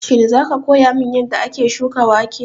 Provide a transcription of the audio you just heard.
Shin za ka koya min yanda ake shuka wake?